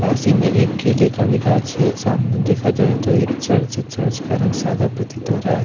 पास ही में एक केले का विकास छे और सामने देखा जाए तो एक चर्च है चर्च का रंग सदा प्रतीत हो रहा है ।